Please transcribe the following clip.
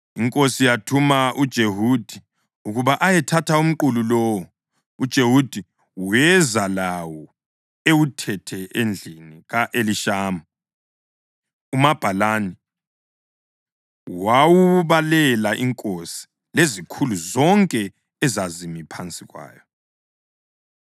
inkosi yathuma uJehudi ukuba ayethatha umqulu lowo, uJehudi weza lawo ewuthethe endlini ka-Elishama umabhalani wawubalela inkosi lezikhulu zonke ezazimi phansi kwayo.